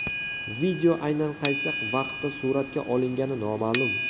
Video aynan qaysi vaqtda suratga olingani noma’lum.